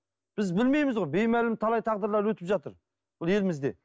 біз білмейміз ғой беймәлім талай тағдырлар өтіп жатыр бұл елімізде